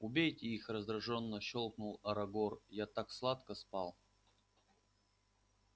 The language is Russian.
убейте их раздражённо щёлкнул арагор я так сладко спал